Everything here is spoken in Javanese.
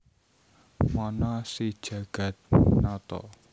Mana si Jagatnata